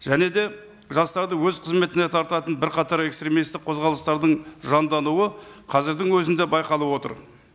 және де жастарды өз қызметіне тартатын бірқатар экстремисттік қозғалыстардың жандануы қазірдің өзінде байқалып отыр